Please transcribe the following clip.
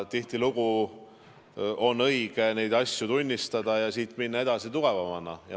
Tihtilugu on õige neid asju tunnistada ja minna edasi tugevamana.